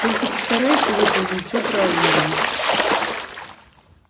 только постарайся выполнить всё правильно